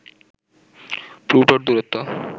প্লুটোর দূরত্ব